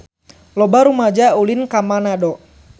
Loba rumaja ulin ka Manado